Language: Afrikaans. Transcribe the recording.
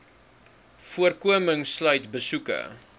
voorkoming sluit besoeke